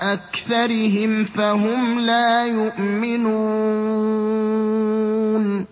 أَكْثَرِهِمْ فَهُمْ لَا يُؤْمِنُونَ